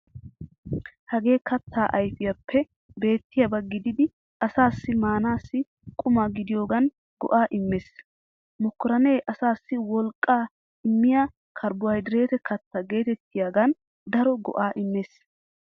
Hagee kattaa ayfiyaappe beettiyaaba gididi asaassi maanaassi quma gidiyogan go'aa immees. Mokorine asaassi wolqqaa immiya karbohaydrete katta geetettiyogan daro go'aa immees.